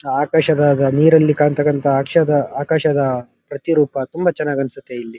ಆಕಾಶದ ನೀರಲಿ ಕಾಣ್ತಾ ಇರತಕ್ಕಂಥ ಆಕಾಶದಲ್ಲಿ ಪ್ರತಿರೂಪ ತುಂಬಾ ಚೆನ್ನಾಗಿ ಅನ್ಸುತ್ತೆ.